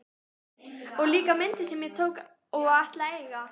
Og líka myndir sem ég tók og ætla að eiga!